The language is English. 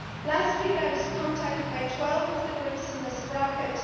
Last week I was contacted by 12 of the groups in this bracket.